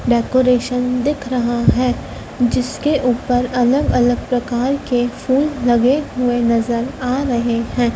Decoration दिख रहा है जिसके ऊपर अलग अलग प्रकार के फूल लगे हुए नजर आ रहे हैं।